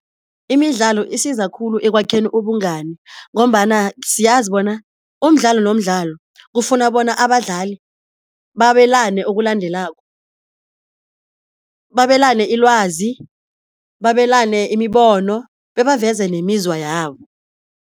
Imidlalo isiza khulu ekwakheni ubungani, ngombana siyazi bona umdlalo nomdlalo kufuna bona abadlali babelane okulandelako, babelane ilwazi, babelane imibono bebaveze nemizwa yabo.